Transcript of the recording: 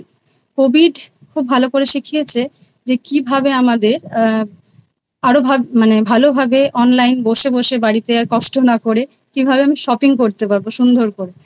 covid খুব ভালো করে শিখিয়েছে যে কি ভাবে আমাদের আরো ভালো মানে ভালো ভাবে Online বসে বসে বাড়িতে আর কষ্ট না করে কীভাবে Shopping করতে পারবো সুন্দর করে।